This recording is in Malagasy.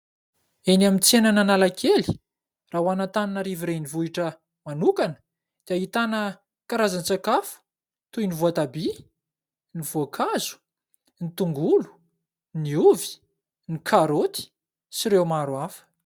Eny amin'ny tsenan'Analakely raha ho an'Antananarivo Renivohitra manokana dia ahitana karazan-tsakafo toy : ny voatabia, ny voankazo, ny tongolo, ny ovy, ny karaoty sy ireo maro hafa.